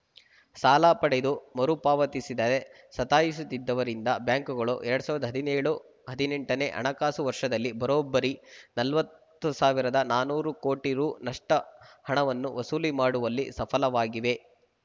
ಸಾಲ ಪಡೆದು ಮರುಪಾವತಿಸದೇ ಸತಾಯಿಸುತ್ತಿದ್ದವರಿಂದ ಬ್ಯಾಂಕುಗಳು ಎರಡ್ ಸಾವಿರದ ಹದಿನ್ಯೋಳು ಹದಿನೆಂಟನೇ ಹಣಕಾಸು ವರ್ಷದಲ್ಲಿ ಬರೋಬ್ಬರಿ ನಲವತ್ತು ಸಾವಿರದ ನಾನೂರು ಕೋಟಿ ರುನಷ್ಟುಹಣವನ್ನು ವಸೂಲಿ ಮಾಡುವಲ್ಲಿ ಸಫಲವಾಗಿವೆ